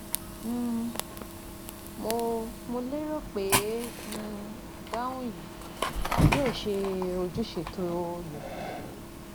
um Mo Mo lérò pé um ìdáhùn yìí yóò ṣe ojúṣe tó yẹ